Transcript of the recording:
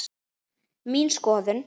Mín skoðun?